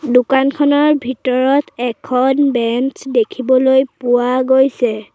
দোকানখনৰ ভিতৰত এখন বেঞ্চ দেখিবলৈ পোৱা গৈছে।